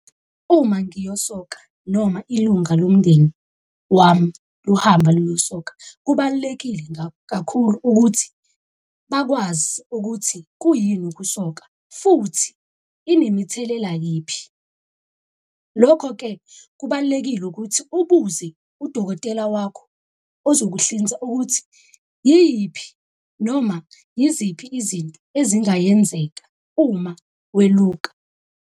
Uma ngiyosoka noma ilunga lomndeni wami luhamba luyo soka. Kubalulekile kakhulu ukuthi bakwazi ukuthi kuyini ukusoka? Futhi inemithelela yiphi? Lokho-ke kubalulekile ukuthi ubuze udokotela wakho ozokuhlinza ukuthi yiphi noma yiziphi izinto ezingayenzeka uma weluka?